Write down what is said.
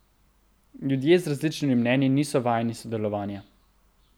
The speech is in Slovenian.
Ljudje z različnimi mnenji niso vajeni sodelovanja.